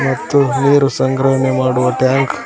ಮತ್ತು ನೀರು ಸಂಗ್ರಹಣೆ ಮಾಡುವ ಟ್ಯಾಂಕ್ --